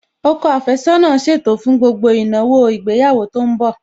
Ọkọ àfẹ́sọ́nà ṣètò fún gbogbo ìnáwó ìgbéyàwó tó ń bọ̀